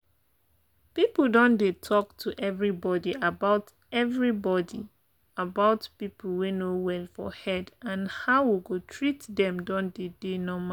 people don dey talk to everybody about everybody about people wey no well for head and how we go treat them don deydey normal.